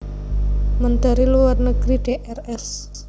Menteri Luar Negeri Drs